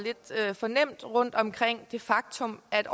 lidt for nemt rundt om det faktum at